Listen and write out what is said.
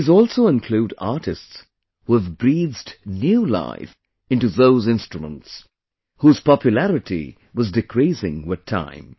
These also include artists who have breathed new life into those instruments, whose popularity was decreasing with time